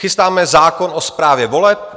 Chystáme zákon o správě voleb.